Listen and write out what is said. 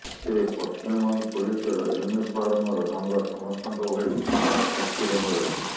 ତେବେ ପଶ୍ଚିମବଙ୍ଗ ପୋଲିସର ୟୁନିଫର୍ମର ରଙ୍ଗ ସମସ୍ତଙ୍କ ଭଳି ଖାକି ରଙ୍ଗ ରହିଛି